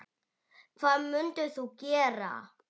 Hvað mundir þú gera?